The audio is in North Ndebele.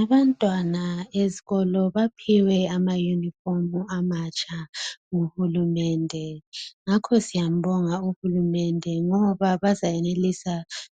Abantwana esikolo baphiwe amayunifomu amatsha nguhulumende ngakho siyambonga uhulumende ngoba bazayenelisa